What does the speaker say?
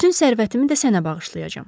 Bütün sərvətimi də sənə bağışlayacam.